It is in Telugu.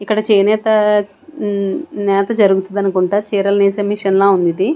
ఇక్కడ చేనేత నేత జరుగుతుదనుకుంటా చీరలు నేసే మిషన్లా ఉందిది.